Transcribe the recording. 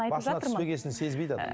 басына түспегесін сезбейді адам